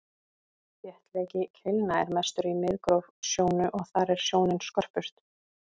þéttleiki keilna er mestur í miðgróf sjónu og þar er sjónin skörpust